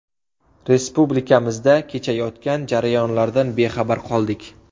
Respublikamizda kechayotgan jarayonlardan bexabar qoldik”.